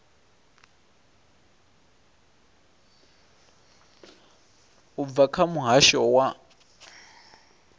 u bva kha muhasho wa